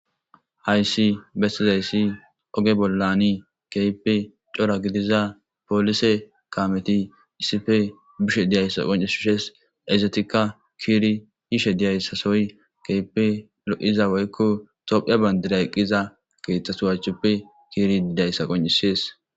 Hayssi bestizayssi oge bollani keype cora gidiza poolise kameti issife bishe diyayssa qonces hushes ezetikka kiiri yishe diyayssasoy keype lo7iza woykko tophiya bandira eqqiza keeththasuwachchoppe kiiri didayssa qoncisees.